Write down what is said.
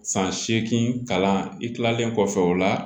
San seegin kalan i kilalen kɔfɛ o la